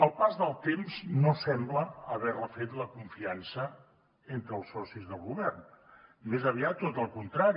el pas del temps no sembla haver refet la confiança entre els socis del govern més aviat tot el contrari